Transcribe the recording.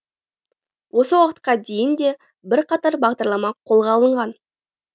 осы уақытқа дейін де бірқатар бағдарлама қолға алынған